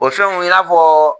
O fɛnw y'a fɔ